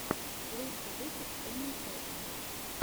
лучший выпуск эмэсатяны